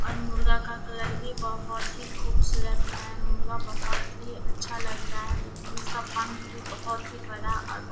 अलमीरा का कलर भी बहुत ही खूबसूरत है। अलमीरा बहुत ही अच्छा लग रहा है देखने में इसका पंख भी बहुत ही बड़ा और ब --